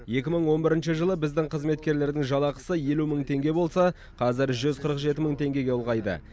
екі мың он бірінші жылы біздің қызметкерлердің жалақысы елу мың теңге болса қазір жүз қырық жеті мың теңгеге ұлғайды